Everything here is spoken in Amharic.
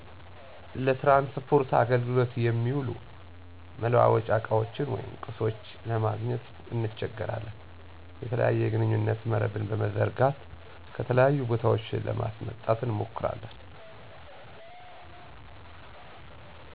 ለትራንስፖርት አገልግሎት የሚውሉ መላዋወጫ እቃዎች ወይም ቁሶች ለማግኘት እንቸገራለን። የተለያየ የግንኙነት መረብን በመዘርጋት ከተለያዩ ቦታዎች ለማስመጣት እንሞክራለን።